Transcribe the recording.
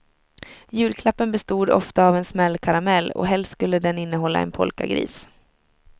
Julklappen bestod ofta av en smällkaramell, och helst skulle den innehålla en polkagris.